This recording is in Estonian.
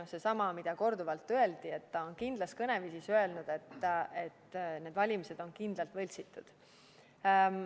Pean silmas sedasama, mida korduvalt öeldi, et ta on kindlas kõneviisis öelnud, et need valimised on kindlalt võltsitud.